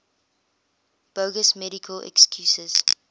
bogus medical excuses